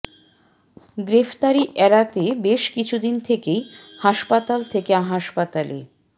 গ্রেফতারি এড়াতে বেশ কিছু দিন থেকেই হাসপাতাল থেকে হাসপাতালে